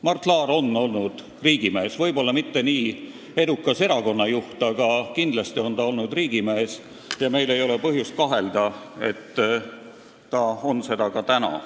Mart Laar on olnud riigimees – ta ei ole võib-olla olnud nii edukas erakonna juht, aga kindlasti on ta olnud riigimees – ja meil ei ole põhjust temas kahelda: ta on seda ka praegu.